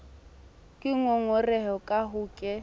ke ngongorehe ka ha ke